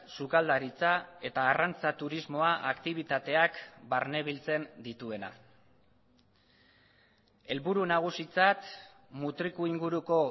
sukaldaritza eta arrantza turismoa aktibitateak barnebiltzen dituena helburu nagusitzat mutriku inguruko